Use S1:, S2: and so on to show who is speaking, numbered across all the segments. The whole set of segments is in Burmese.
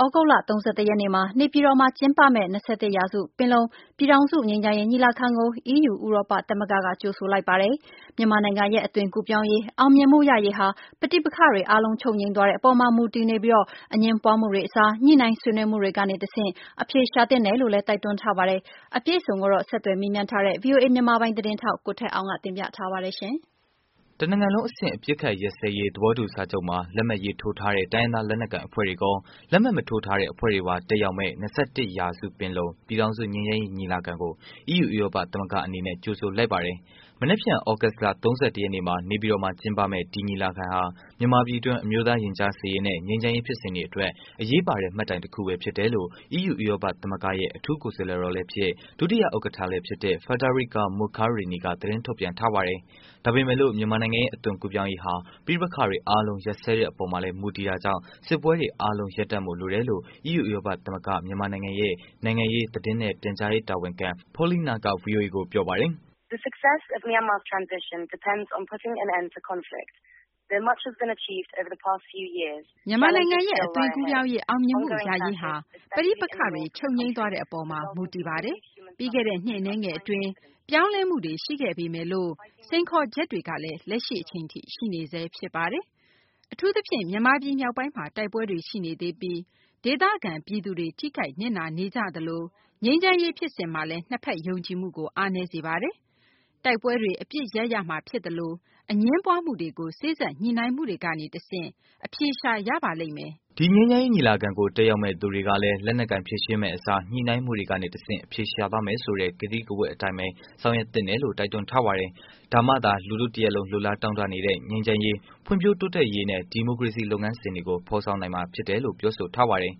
S1: သြဂုတ်လ ၃၁ ရက်နေ့မှာ နေပြည်တော်မှာ ကျင်းပမယ့် ၂၁ ရာစု ပင်လုံ ပြည်ထောင်စု ငြိမ်းချမ်းရေး ညီလာခံကို အီးယူ ဥရောပသမဂ္ဂက ကြိုဆိုလိုက်ပါတယ်။ မြန်မာနိုင်ငံရဲ့ အသွင်ကူးပြောင်းရေး အောင်မြင်မှုရရေးဟာ ပဋိပက္ခတွေအားလုံးချုပ်ငြိမ်းသွားတဲ့ အပေါ်မှာ မူတည်ပြီးအငြင်းပွားမှုတွေ အစား ညှိုနှိုင်းဆွေးနွေးမှုတွေကနေတစ်ဆင့် အဖြေရှာသင့်တယ်လို့ တိုက်တွန်းထားပါတယ်။ အပြည့်အစုံကိုတော့ ဆက်သွယ်မေးမြန်းထားတဲ့ ဗွီအိုအေမြန်မာပိုင်း သတင်းထောက် ကိုထက်အောင်က တင်ပြပေးမှာပါ။
S2: တစ်နိုင်ငံလုံးအဆင့် အပစ်အခက်ရပ်စဲရေး သဘောတူစာချုပ်မှာ လက်မှတ်ရေးထိုးထားတဲ့ တိုင်းရင်းသား လက်နက်ကိုင်အဖွဲ့ဝင်တွေကော လက်မှတ်မထိုးထားတဲ့ အဖွဲ့တွေပါ တက်ရောက်မယ့် ၂၁ ရာစု ပင်လုံ ငြိမ်းချမ်းရေး ညီလာခံကို အီးယူ ဥရောပသမဂ္ဂအနေနဲ့ ကြိူဆိုလိုက်ပါတယ်။ မနက်ဖြန် သြဂုတ်လ ၃၁ ရက်နေ့မှာ နေပြည်တော်မှာ ကျင်းပမယ့် ဒီညီလာခံဟာ မြန်မာပြည်တွင်း အမျိုးသား ရင်ကြားစေ့ရေးနဲ့ ငြိမ်းချမ်းရေးဖြစ်စဉ်အတွက် အရေးပါတဲ့ မှတ်တိုင်တစ်ခုပဲ ဖြစ်တယ်လို့ အီးယူ ဥရောပ သမဂ္ဂရဲ့ အထူးကိုယ်စားလှယ်တော်လည်း ဖြစ် ဒုတိယ ဥက္ကဌလည်း ဖြစ် Federica Mogherini က သတင်းထုတ်ပြန်ထားပါတယ်။ ဒါပေမဲ့လို့ မြန်မာနိုင်ငံရဲ့ အသွင်ကူးပြောင်းရေးဟာ ပဋပက္ခတွေအားလုံး ရပ်စဲတဲ့အပေါ်မှာလည်း မူတည်တာကြောင့် စစ်ပွဲတွေ အားလုံး ရပ်တည်ဖို့ လိုအပ်တယ်လို့ အီးယူ ဥရောပသမဂ္ဂ မြန်မာနိုင်ငံရဲ့ နိုူင်ငံရေး သတင်းနဲ့ ပြန်ကြားရေး တာဝန်ခံ Paulina က ဗွီအိုအေကို ပြောပါတယ်။
S1: “ မြန်မာနိုင်ငံရဲ့ အသွင်ကူးပြောင်းရေး အောင်မြင်မှု ရရေးဟာ ပဋိပက္ခတွေ ချုပ်ငြိမ်းသွားတဲ့အပေါ်မှာမူတည်ပါတယ်။ ပြီးခဲ့တဲ့ နှစ်အနည်းငယ်အတွင်းမှာ ပြောင်းလဲမှုတွေ ရှိခဲ့ပေမယ့်လို့ စိန်ခေါ်ချက်တွေကလည်း လက်ရှိအချိန်ထိ ရှိနေဆဲဖြစ်ပါတယ်။ အထူးသဖြင့် မြန်မာပြည် မြောက်ပိုင်းမှာ တိုက်ပွဲတွေရှိနေသေးပြီး့ဒေသခံပြည်သူတွေ ထိခိုက်နစ်နာနေကြသလို ငြိမ်းချမ်းရေး ဖြစ်စဉ်မှာလည်း ၂ ဘက် ယုံကြည်မှုကို အားနည်းစေပါတယ်။ တိုက်ပွဲတွေ အပစ်ရပ်မှဖြစ်သလို၊ အငြင်းပွားမှု တွေကို စေ့စပ်ညိုနှိုင်းမှုကနေတစ်ဆင့် အဖြေရှာရပါလိမ့်မယ်။
S2: ” ဒီငြိမ်းချမ်းရေး ညီလာခံကို တက်ရောက်မယ့် လူတွေကလည်းလက်နက်ကိုင် ဖြေရှင်းမယ့်အစား ညှိုနိုင်းမှုကနေတစ်ဆင့် အဖြေရှာသွားမယ့်ဆိုတဲ့ ကတိကဝတ်အတိုင်း ဆောင်ရွက်သင့်တယ်လို့ တိုက်တွန်းထားပါတယ်။ ဒါမှသာ လူထုတစ်ရပ်လုံး လိုလားတောင့်တနေတဲ့ ငြိမ်းချမ်းရေး၊ ဖွံ့ဖြိုးတိုးတက်ရေးနဲ့ ဒီမိုကရေစီလုပ်ငန်းစဉ်တွေကို ဖော်ဆောင်နိုင်မှာ ဖြစ်တယ်လို့လည်း ပြောဆိုထားပါတယ်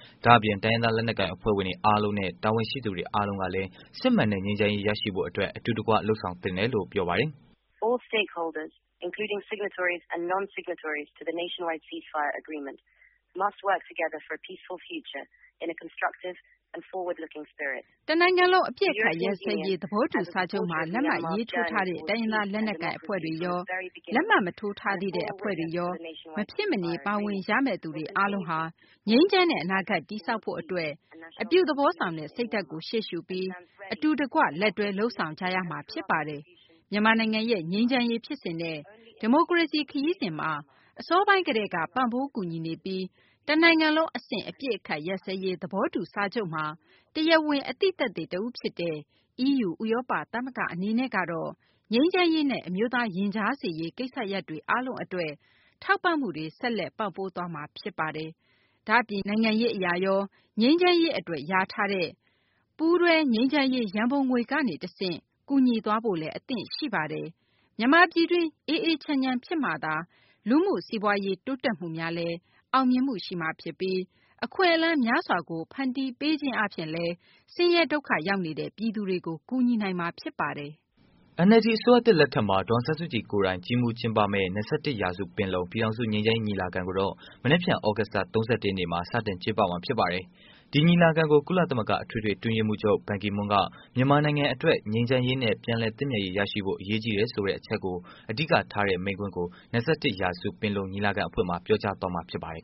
S2: ။ ဒါ့အပြင် တိုင်းရင်းသား လက်နက်ကိုင်အဖွဲ့တွေ အားလုံးနဲ့ တာဝန်ရှိသူတွေအားလုံးကလည်း စစ်မှန်တဲ့ ငြိမ်းချမ်းရေး ရရှိဖို့အတွက် အတူတကွ လုပ်ဆောင်သင့်တယ်လို့ ပြောပါတယ်။
S1: “တစ်နိုင်ငံလုံး အပစ်အခတ်ရပ်စဲရေး သဘောတူ စာချုပ်မှာ လက်မှတ်ရေးထိုးထားတဲ့ တိုင်းရင်းသား လက်နက်ကိုင် အဖွဲ့တွေကော လက်မှတ်မထိုးထားတဲ့ အဖွဲ့တွေနဲ့ မဖြစ်မနေပါဝင်ရမယ့်တွေအာားလုံးဟာ ငြိမ်းချမ်းတဲ့ အနာဂတ် တည်ဆောက်ဖို့အတွက်အပြုသဘောဆောင်တဲ့ စိတ်ဓါတ်ကိုရှေ့ရှုပြီး အတူတကွလက်တွဲ လုပ်ဆောင်ကြရမှာဖြစ်ပါတယ်။ မြန်မာနိုင်ငံရဲ့ ငြိမ်းချမ်းရေးဖြစ်စဉ်နဲ့ ဒီမိုကရေစီ ခရီးစဉ်မှာ အစောပိုင်းကတည်းက ပံပိုးကူညီနေပြီး တစ်နိုင်ငံလုံးအဆင့် အပစ်အခက်ရပ်စဲရေး သဘောတူစာချုပ်မှာာ တရားဝင် အသိသက်သေတစ်ဦးဖြစ်တဲ့ အီးယူ ဥရောပ သမဂ္ဂအနေနဲ့ကတော့ ငြိမ်းချမ်းရေးနဲ့ အမျီုးသား ရင်ကြားစေ့ရေး ကိစ္စရပ်တွေအားလုံးအတွက် ထောက်ပံမှုတွေ ဆက်လက်ပံပိုးသွားမှာ ဖြစ်ပါတယ်။ ဒါ့အပြင် နိုင်ငံရေးအရရော ငြိမ်းချမ်းရေးအတွက် လျာထားတဲ့ ပူးတွုငြိမ်းချမ်းရေးရန်ပုံငွေ ကနေတစ်ဆင့် ကူညီသွားဖို့လည်း အသင့်ရှိပါတယ်။ မြန်မာပြည်တွင်း အေးအေးချမ်းချမ်း ဖြစ်မှသာ လူမှု စီးပွားရေး တိုးတက်မှုများလည်း အောင်မြင်မှု ရှိမှာ ဖြစ်ပြီး အခွင့်အလမ်းများစွာကို ဖန်တီးပေးခြင်း အားဖြင့်လည်း ဆင်းရဲဒုက္ခရောက်နေတဲ့ ပြည်သူတွေကိုလည်း ကူညီနိုင်မှာ ဖြစ်ပါတယ်။
S2: ” NLD အစိုးရသစ်လက်ထက်မှာ ဒေါ်အောင်ဆန်းစုကြည်ကိုယ်တိုင် ကြီးမှုးကျင်းပမယ့် ၂၁ ရာစုပင်လုံ ပြည်ထောင်စု ငြိမ်းချမ်းရေး ညီလာခံကိုတော့ မနက်ဖြန် သြဂုတ်လ ၃၁ နေ့မှာ စတင်ကျင်းပမှာ ဖြစ်ပါတယ်။ ဒီညီလာခံကို ကုလသမဂ္ဂ အတွင်းရေးမှုးချုပ် ဘန်ကီမွန်းက မြန်မာနိုင်ငံအတွက် ငြိမ်းချမ်းရေးနဲ့ ပြန်လည်သင့်မြတ်ရေးရရှိဖို့ အရေးကြီးတယ်ဆိုတဲ့ အချက်ကိုအဓိကထားတဲ့ မိန့်ခွန်းကို ၂၁ ရာစုပင်လုံညီလာခံအဖွင့်မှာ ပြောကြားမှာဖြစ်ပါတယ်